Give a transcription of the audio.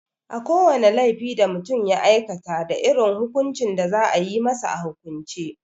Ko wane laifi da mutum ya aikata da irin hukuncin da za a yi masa a hukumance.